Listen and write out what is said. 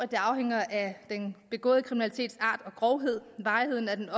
det afhænger af den begåede kriminalitets art og grovhed varigheden af den